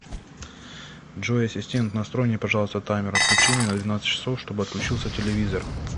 джой ассистент настрой мне пожалуйста таймер отключения на двенадцать часов чтоб отключился телевизор